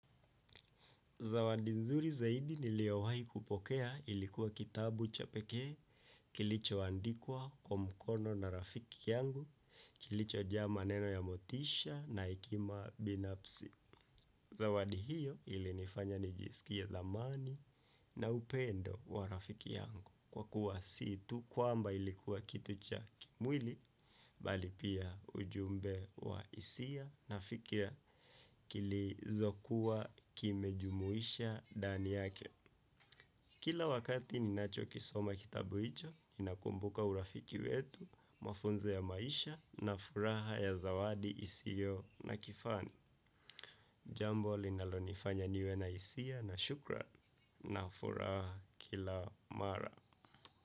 Zawadi nzuri zaidi niliowahi kupokea ilikuwa kitabu cha pekee, kilichoandikwa, kwa mkono na rafiki yangu, kilichojaa maneno ya motisha na hekima binafsi. Zawadi hiyo ilinifanya nijisikie thamani na upendo wa rafiki yangu kwa kuwa si tu kwamba ilikuwa kitu cha kimwili bali pia ujumbe wa hisia na fikra kilizo kuwa kimejumuisha ndani yake. Kila wakati ninacho kisoma kitabu hicho, ninakumbuka urafiki wetu, mafunzo ya maisha na furaha ya zawadi isiyo na kifani. Jambo linalonifanya niwe na hisia na shukrani na furaha kila mara.